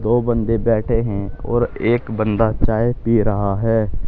दो बंदे बैठे हैं और एक बंदा चाय पी रहा है।